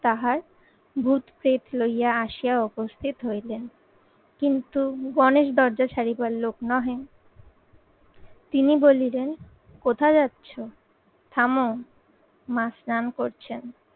তাহার ভূত, পেট লইয়া আসিয়া উপস্থিত হইলেন কিন্তু গণেশ দরজা ছাড়িবার লোক নহে তিনি বলিলেন কোথায় যাচ্ছ থামো মা স্নান করছেন।